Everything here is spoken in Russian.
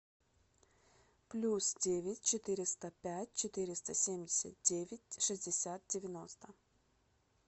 плюс девять четыреста пять четыреста семьдесят девять шестьдесят девяносто